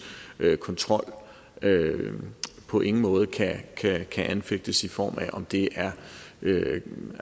kontrol på ingen måde kan anfægtes i form af om det er det